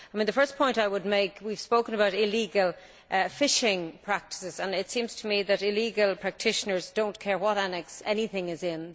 The first point I would make is that we have spoken about illegal fishing practices, and it seems to me that illegal practitioners do not care about what appendix anything is in.